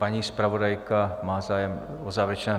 Paní zpravodajka má zájem o závěrečné...?